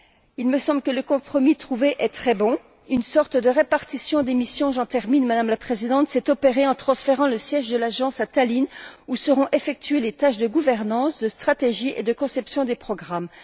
Il me semble que le compromis trouvé est très bon une sorte de répartition des missions j'en termine Madame la Présidente s'est opérée par un transfert du siège de l'agence à Tallinn, où seront effectuées les tâches de gouvernance, de stratégie et de conception des programmes.